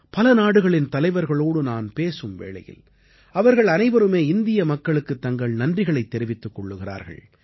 பல நாடுகளின் தலைவர்களோடு நான் பேசும் வேளையில் அவர்கள் அனைவருமே இந்திய மக்களுக்குத் தங்கள் நன்றிகளைத் தெரிவித்துக் கொள்கிறார்கள்